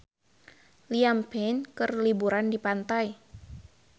Liam Payne keur liburan di pantai